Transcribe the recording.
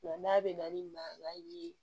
Nka n'a bɛ na ni maa i b'a ye